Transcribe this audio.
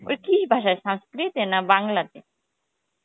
কি ভাসায় sanskrit এ না বাংলা তে